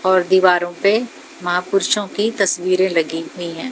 और दीवारों पे महापुरुषों की तस्वीरें लगी हुई हैं।